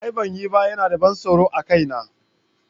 A'a ban yi ba, yana da ban tsoro a kaina.